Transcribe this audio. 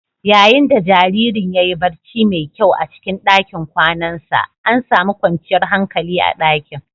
Yayin da jaririn ya yi barci mai kyau a cikin ɗakin kwanansa, an sami kwanciyar hankali a dakin